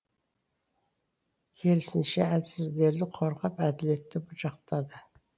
керісінше әлсіздерді қорғап әділетті жақтады